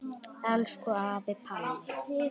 Elsku afi Palli.